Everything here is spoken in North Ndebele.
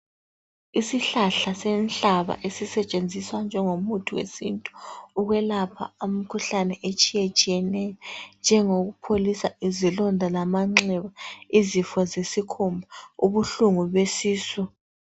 Isihlahla senhlaba esisetshenziswa njengomuthi wesintu ukwelapha imikhuhlane etshiyetshiyeneyo, enjengokupholisa izilonda lamanxeba, izifo zesikhumba, ubuhlungu besisu.